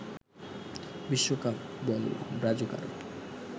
বিশ্বকাপ বল ব্রাজুকার